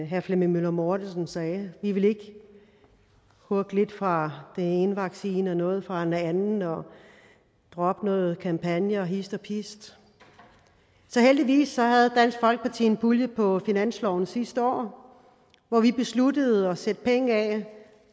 herre flemming møller mortensen sagde vi ville ikke hugge lidt fra den ene vaccine og noget fra en anden og droppe nogle kampagner hist og pist så heldigvis havde dansk folkeparti en pulje på finansloven sidste år hvor vi besluttede at sætte penge af